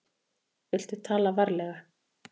Viltu tala varlega.